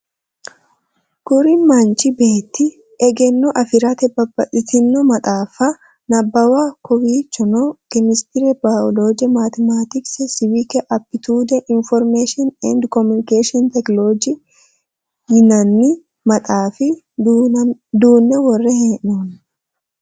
Kuri manichi beetti egeno afiratte babbaxittino maxxafa nababbano kowichonno chemistry, biology, mathematics, civic, aptitude, information & communication technology yinani maxxafa duune worre heenoni